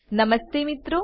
નમસ્તે મિત્રો